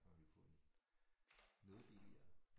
Kan man jo få det noget billigere